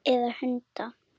Eða hunda?